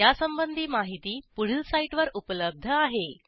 यासंबंधी माहिती पुढील साईटवर उपलब्ध आहे